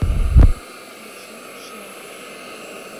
включи шелк